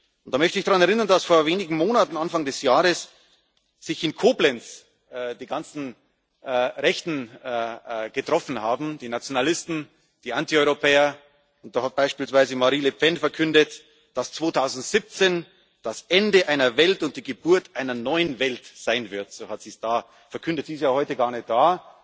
Und da möchte ich daran erinnern, dass vor wenigen Monaten Anfang des Jahres sich in Koblenz die ganzen Rechten getroffen haben, die Nationalisten, die Antieuropäer, und beispielsweise Marine Le Pen dort verkündet hat, dass 2017 das Ende einer Welt und die Geburt einer neuen Welt sein wird. So hat sie es da verkündet. Sie ist ja heute gar nicht